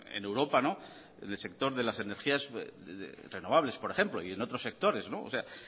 en europa del sector de las energías renovables por ejemplo y en otros sectores en